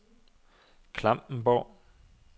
Klampenborg